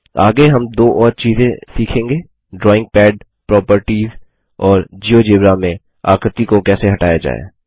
आगे हम दो और चीज़े सीखेंगे ड्रॉइंग पैड प्रोपर्टिस और जियोजेब्रा में आकृति को कैसे हटाया जाय